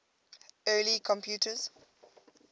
early computers